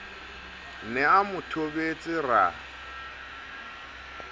ne a mo thobetse ra